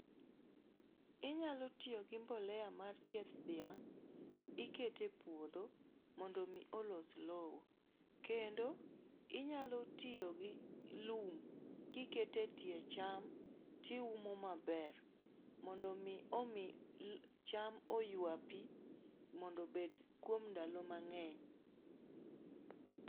Inyalo tiyo gi mbolea mar chieth dhiang'. Ikete puodho mondo mi olos low. Kendo, inyalo tiyo gi lum kikete tie cham tiumo maber. Mondo mi omi cham oywa pi mondo bed kuom ndalo mang'eny.